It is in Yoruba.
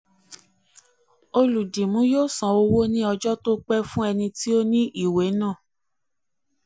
olùdìmú yóó san owó ní ọjọ́ tó pé fún ẹni tí ó ní ìwé náà.